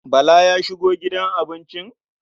Bala ya shigo gidan abincin?